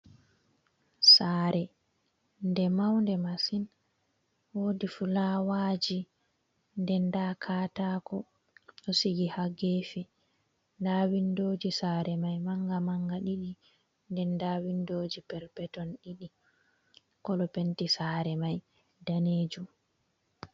Saare nde maunde masin, woodi filaawa ji nden, nda katako ɗo sigi haa geefe, nda windoji saare mai manga-manga ɗiɗi nden nda windoji perpeton ɗiɗi kolo penti saare mai daneejum.